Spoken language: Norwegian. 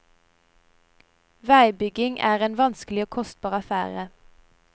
Veibygging er en vanskelig og kostbar affære.